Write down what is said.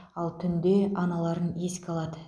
ал түнде аналарын еске алады